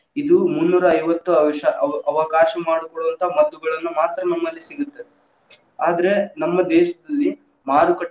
ಇದು ಮುನ್ನೂರಾ ಐವತ್ತು ಅವಶ್ಯ ಅವ~ ಅವಕಾಶ ಮಾಡಿಕೊಡುವಂತಹ ಮದ್ದುಗಳನ್ನ ಮಾತ್ರ ನಮ್ಮಲ್ಲಿ ಸಿಗುತ್ತ್‌, ಆದ್ರ ನಮ್ಮ ದೇಶದಲ್ಲಿ.